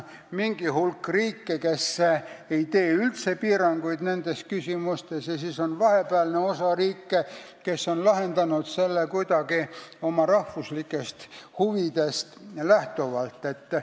Mingi hulk riike ei tee üldse nendes küsimustes piiranguid ja vahepealne osa riike on selle lahendanud kuidagi oma rahvuslikest huvidest lähtuvalt.